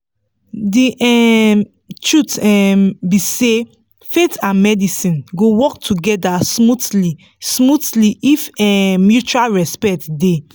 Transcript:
the um truth um be say faith and medicine go work together smoothly smoothly if um mutual respect dey.